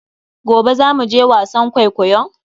Gobe za mu je wasan kwaikoyon?